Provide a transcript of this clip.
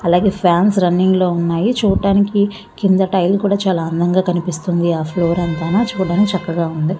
అలాగే ఫాన్స్ రున్నింగ్లో ఉన్నాయి. చూడటానికి కింద టైల్ కూడ చాల అందంగా కనిపిస్తుంది. ఆహ్ ఫ్లోర్ అంతాను చూడ్డానికి చక్కగా ఉంది.